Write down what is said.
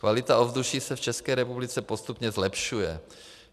Kvalita ovzduší se v České republice postupně zlepšuje.